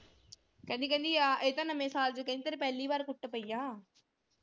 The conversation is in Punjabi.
ਕਹਿੰਦੀ ਕਹਿੰਦੀ ਆਹ ਇਹ ਤਾਂ ਨਵੇਂ ਸਾਲ ਚ ਕਹਿੰਦੀ ਤੇਰੇ ਪਹਿਲੀ ਵਾਰ ਕੁੱਟ ਪਈ ਆ।